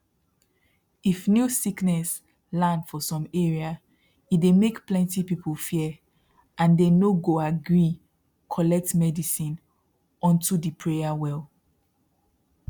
if new sickness land for some area e dey make plenty people fear and they no go agree collect medicine onto the pray well